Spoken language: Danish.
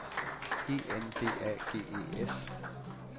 E N D A G E S